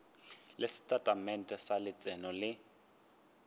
le setatamente sa letseno le